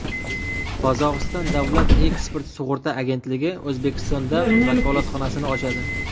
Qozog‘iston davlat eksport sug‘urta agentligi O‘zbekistonda vakolatxonasini ochadi.